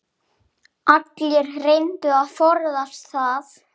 Allir reyndu að forðast það.